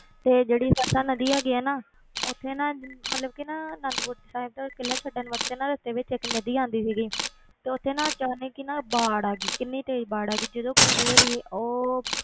ਤੇ ਜਿਹੜੀ ਸਰਸਾ ਨਦੀ ਹੈਗੀ ਹੈ ਨਾ ਉੱਥੇ ਨਾ ਮਤਲਬ ਕਿ ਨਾ ਅਨੰਦਪੁਰ ਸਾਹਿਬ ਦਾ ਕਿਲ੍ਹਾ ਛੱਡਣ ਵਾਸਤੇ ਨਾ ਰਸਤੇ ਵਿੱਚ ਇੱਕ ਨਦੀ ਆਉਂਦੀ ਸੀਗੀ ਤੇ ਉੱਥੇ ਨਾ ਅਚਾਨਕ ਹੀ ਨਾ ਬਾੜ ਆ ਗਈ, ਕਿੰਨੀ ਤੇਜ਼ ਬਾੜ ਆ ਗਈ, ਜਦੋਂ ਗੁਰੂ ਜੀ ਹੋਣੀ ਉਹ